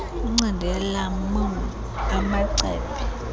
incindi yelemon amacephe